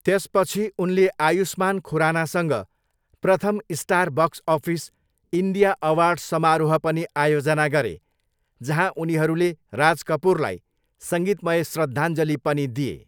त्यसपछि उनले आयुष्मान खुरानासँग प्रथम star box office India award समारोह पनि आयोजना गरे, जहाँ उनीहरूले राज कपुरलाई सङ्गीतमय श्रद्धाञ्जली पनि दिए।